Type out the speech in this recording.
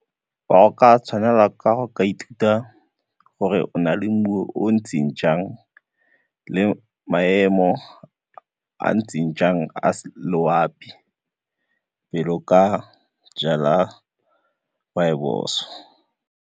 Fa o ka tshwanela ka go ka ithuta gore o na le mmu o o ntseng jang le maemo a a ntseng jang a loapi pele o ka jala rooibos.